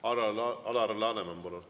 Alar Laneman, palun!